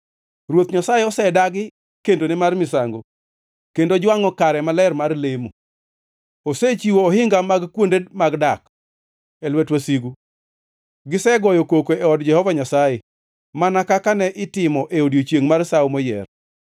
Ruoth Nyasaye osedagi kendone mar misango kendo jwangʼo kare maler mar lemo. Osechiwo ohinga mag kuonde mag dak e lwet wasigu; gisegoyo koko e od Jehova Nyasaye mana kaka ne itimo e odiechiengʼ mar sawo moyier.